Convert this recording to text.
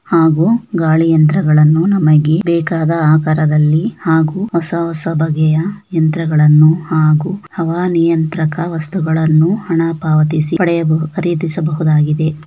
ಹಾಗೂ ಗಾಳಿ ಯಂತ್ರಗಳನ್ನು ನಮಗೆ ಬೇಕಾದ ಆಕಾರದಲ್ಲಿ ಹಾಗೂ ಹೊಸ ಹೊಸ ಬಗೆಯ ಯಂತ್ರಗಳನ್ನು ಹಾಗೂ ಹವಾನಿಯಂತ್ರಕ ವಸ್ತುಗಳನ್ನು ಹಣ ಪಾವತಿಸಿ ಪಡೆಯಬಹುದು ಖರೀದಿಸಬಹುದಾಗಿದೆ.